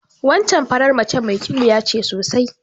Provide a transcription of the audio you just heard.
Wancan faran mace mai ƙiwuya ce sosai.